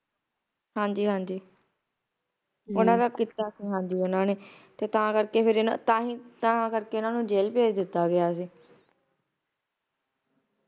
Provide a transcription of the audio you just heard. ਹਾਂਜੀ ਹਾਂਜੀ ਓਹਨਾ ਦਾ ਕੀਤਾ ਸੀ ਹਾਜੀ ਓਹਨਾ ਨੇ ਤੇ ਤਾਂ ਕਰਕੇ ਫਰ ਤਾਹਿ ਤਾ ਕਰਕੇ ਇਹਨਾਂ ਨੂੰ ਜੇਲ ਭੇਜ ਦਿੱਤਾ ਗਿਆ ਸੀ